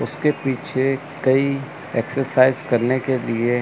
उसके पीछे कई एक्सरसाइज करने के लिए--